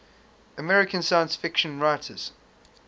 american science fiction writers